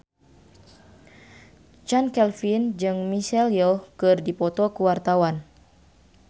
Chand Kelvin jeung Michelle Yeoh keur dipoto ku wartawan